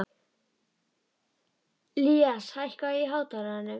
Ilías, hækkaðu í hátalaranum.